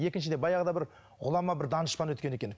екіншіден баяғыда бір ғұлама бір данышпан өткен екен